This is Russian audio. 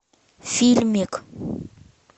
фильмик